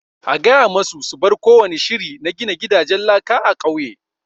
A gaya ma su su bar kowani shiri na gina gidanjen laka a ƙauye!